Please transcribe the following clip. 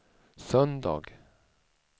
söndag